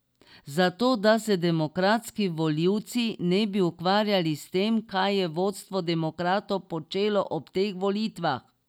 Zato da se demokratski volivci ne bi ukvarjali s tem, kaj je vodstvo demokratov počelo ob teh volitvah.